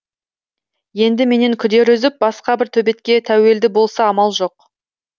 енді менен күдер үзіп басқа бір төбетке тәуелді болса амал жоқ